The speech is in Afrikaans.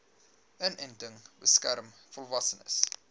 inenting beskerm volwassenes